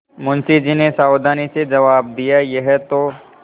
मुंशी जी ने सावधानी से जवाब दियायह तो